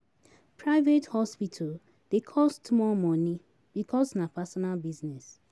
Private hospital dey cost more money because na personal business